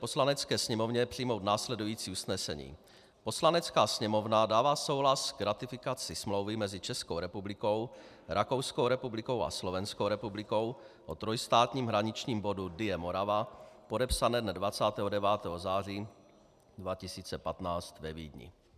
Poslanecké sněmovně přijmout následující usnesení: Poslanecká sněmovna dává souhlas k ratifikaci Smlouvy mezi Českou republikou, Rakouskou republikou a Slovenskou republikou o trojstátním hraničním bodu Dyje - Morava podepsané dne 29. září 2015 ve Vídni.